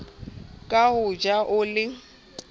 ka o ja o le